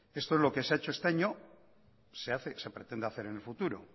esto es lo que se ha hecho este año se pretende hacer en el futuro